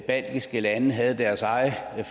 baltiske lande havde deres egne